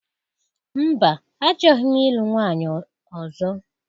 Mba, achọghị m ịlụ nwunye ọzọ.